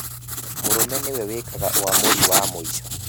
Mũrũme nĩ we wĩkaga ũamũri wa mũico